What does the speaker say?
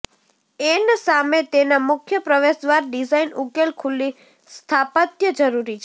N સામે તેના મુખ્ય પ્રવેશદ્વાર ડિઝાઇન ઉકેલ ખુલ્લી સ્થાપત્ય જરૂરી છે